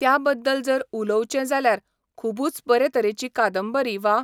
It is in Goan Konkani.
त्या बद्दल जर उलोवचें जाल्यार खुबूच बरे तरेची कादंबरी वा